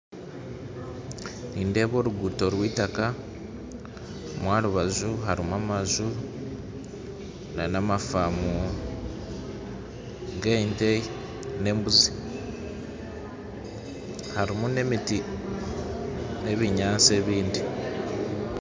Nindeeba oruguuto rw'eitaka aha rubaju hariho amaju na faamu z'ente n'embuzi harimu n'emiti n'ebinyaatsi ebindi.